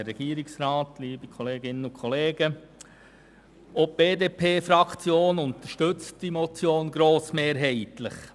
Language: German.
Auch die BDP-Fraktion unterstützt die Motion grossmehrheitlich.